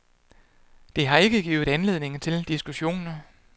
Det har ikke givet anledning til diskussioner.